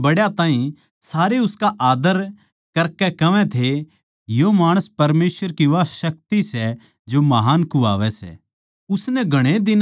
छोट्या तै लेकै बड्डयाँ ताहीं सारे उसका आद्दर करकै कहवै थे यो माणस परमेसवर की वा शक्ति सै जो महान् कुह्वावै सै